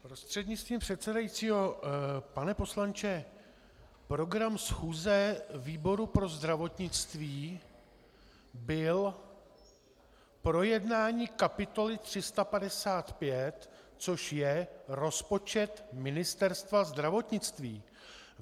Prostřednictvím předsedající - pane poslanče, program schůze výboru pro zdravotnictví byl projednání kapitoly 355, což je rozpočet Ministerstva zdravotnictví.